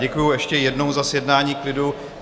Děkuji ještě jednou za zjednání klidu.